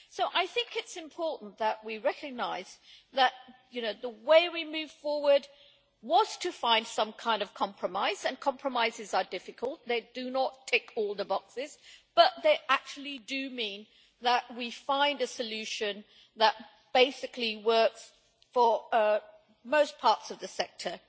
I think it is important that we recognise that the way we could move forward was to find some kind of compromise, and compromises are difficult, they do not tick all the boxes, but they do mean that we find a solution that basically works for most parts of the sector.